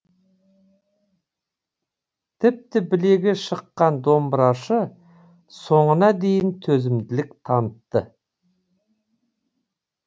тіпті білегі шыққан домбырашы соңына дейін төзімділік танытты